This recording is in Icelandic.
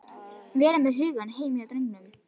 Vera með hugann heima hjá drengnum.